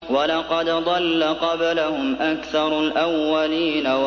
وَلَقَدْ ضَلَّ قَبْلَهُمْ أَكْثَرُ الْأَوَّلِينَ